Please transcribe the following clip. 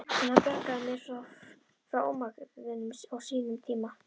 En hann bjargaði mér þó frá ómagaorðinu á sínum tíma.